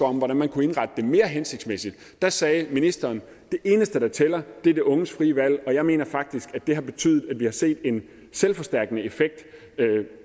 om hvordan man kunne indrette det mere hensigtsmæssigt der sagde ministeren det eneste der tæller er de unges frie valg jeg mener faktisk at det har betydet at vi har set en selvforstærkende effekt